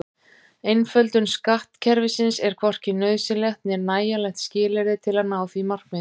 Einföldun skattkerfisins er hvorki nauðsynlegt né nægjanlegt skilyrði til að ná því markmiði.